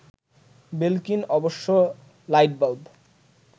Belkin অবশ্য light bulb